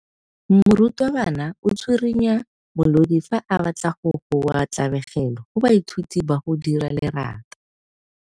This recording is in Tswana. Morutwabana o tswirinya molodi fa a batla go goa tlabego go baithuti ba go dira lerata.